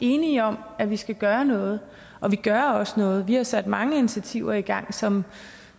enige om at vi skal gøre noget og vi gør også noget vi har sat mange initiativer i gang som